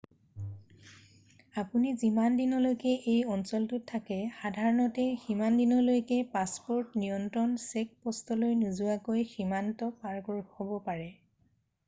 আপুনি যিমান দিনলৈকে এই অঞ্চলটোত থাকে সাধাৰণতে সিমান দিনলৈকে পাছপ'ৰ্ট নিয়ন্ত্ৰণ চেকপ'ষ্টলৈ নোযোৱাকৈ সীমান্ত পাৰ হ'ব পাৰে